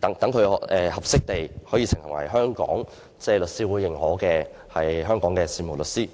確保申請人是適當作為律師會認許的香港事務律師。